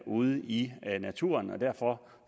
ude i naturen og derfor